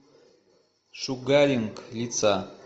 шугаринг лица